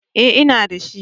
Eh, inda shi